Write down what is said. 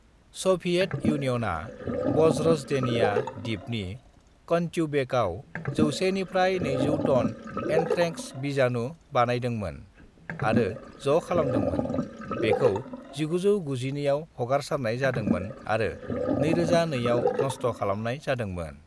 Soviet इउनियनआ वज्रज्डेनिया द्वीपनि कान्ट्यूबेकआव 100 निफ्राय 200 टन एन्थ्रेक्स बीजाणु बानायदोंमोन आरो ज' खालामदोंमोन; बेखौ 1992 आव हगारसारनाय जादोंमोन आरो 2002 आव नष्ट खालामनाय जादोंमोन।